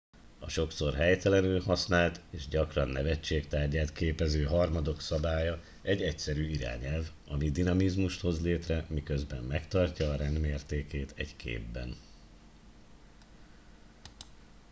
a sokszor helytelenül használt és gyakran nevetség tárgyát képező harmadok szabálya egy egyszerű irányelv ami dinamizmust hoz létre miközben megtartja a rend mértékét egy képben